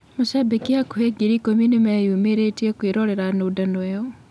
Macambĩki hakuhĩ ngiri ikũmi nĩ meyumĩrĩtie kũĩrorera nũndano ĩyo.